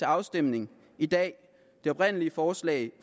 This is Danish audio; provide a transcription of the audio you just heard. afstemning i dag det oprindelige forslag